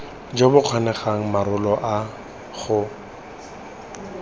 jo bo kgonegang morago ga